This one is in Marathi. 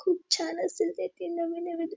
खूप छान असेल तेथे नवे नवे द्रु--